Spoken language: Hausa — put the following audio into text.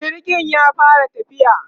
jirgin ya fara tafiya?